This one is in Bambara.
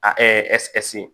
A